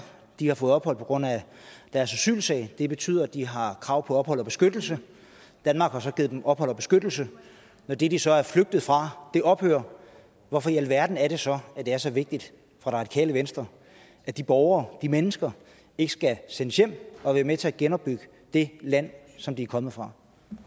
de har fået ophold på grund af deres asylsag det betyder at de har krav på ophold og beskyttelse danmark har så givet dem ophold og beskyttelse når det de så er flygtet fra ophører hvorfor i alverden er det så at det er så vigtigt for radikale venstre at de borgere de mennesker ikke skal sendes hjem og være med til at genopbygge det land som de er kommet fra